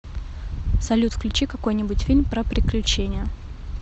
салют включи какой нибудь фильм про приключения